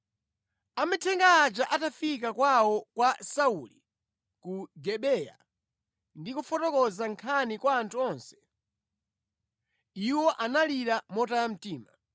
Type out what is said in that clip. Amithenga aja atafika kwawo kwa Sauli ku Gibeya ndi kufotokoza nkhaniyi kwa anthu onse, iwo analira motaya mtima.